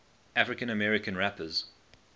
african american rappers